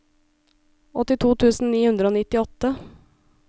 åttito tusen ni hundre og nittiåtte